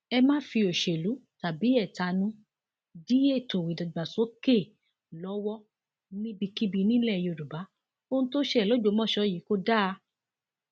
ẹ má fi òṣèlú tàbí ẹtanú dí ètò ìdàgbàsókè lọwọ níbikíbi nílẹ yorùbá ohun tó ṣẹlẹ lọgbọmọso yìí kò dáa